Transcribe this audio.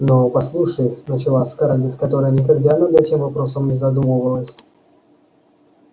но послушай начала скарлетт которая никогда над этим вопросом не задумывалась